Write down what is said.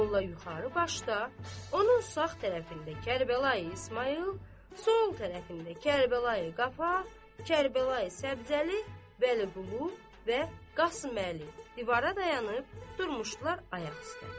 Molla yuxarı başda, onun sağ tərəfində Kərbəlayi İsmayıl, sol tərəfində Kərbəlayi Qafar, Kərbəlayi Səbzəli, Vəliqulu və Qasıməli, divara dayanıb durmuşdular ayaq üstə.